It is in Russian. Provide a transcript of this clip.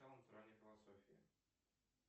философии